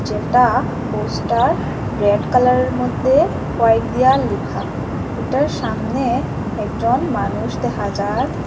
যেটা poster red কালারের মধ্যে হোয়াইট দিয়া লেখা এটার সামনে একজন মানুষ দেখা যার।